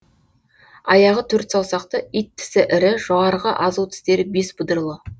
аяғы төрт саусақты ит тісі ірі жоғарғы азу тістері бес бұдырлы